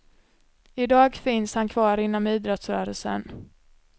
I dag finns han kvar inom idrottsrörelsen.